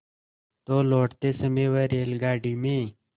तो लौटते समय वह रेलगाडी में